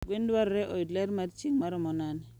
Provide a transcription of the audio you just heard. Gwen dwarore oyud ler mar chieng' maromo nade?